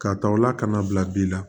K'a ta o la kana bila bi la